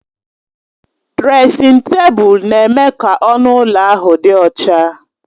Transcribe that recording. Dresịn tebụl na-eme ka ọnụ ụlọ ahụ dị ọcha